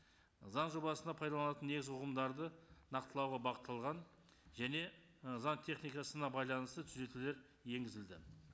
заң жобасына пайдаланатын негізгі ұғымдарды нақтылауға бағытталған және ы заң техникасына байланысты түзетулер енгізілді